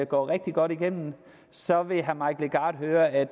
går rigtig godt igennem så vil herre mike legarth høre at